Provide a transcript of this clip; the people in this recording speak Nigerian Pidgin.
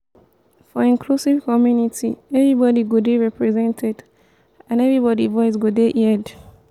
for inclusive community everybody go dey represented and everybody voice go dey heared